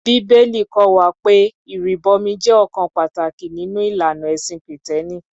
Bíbélì kọ́ wa pé ìrìbọmi jẹ́ ọ̀kan pàtàkì nínú ìlànà ẹ̀sìn Kìtẹ́ẹ́nì.